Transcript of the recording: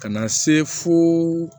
Ka na se fo